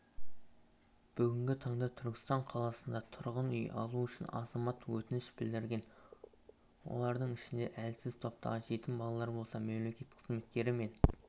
бүгінгі таңда түркістан қаласында тұрғын үй алу үшін азамат өтініш білдірген олардың ішінде әлсіз топтағы жетім балалар болса мемлекет қызметкері мен